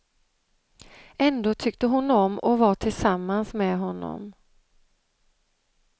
Ändå tyckte hon om att vara tillsammans med honom.